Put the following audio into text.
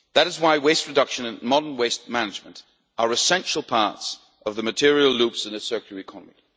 That is why waste reduction and modern waste management are essential parts of the material loops in a circular economy.